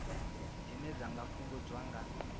dzine dza nga fhungudzwa nga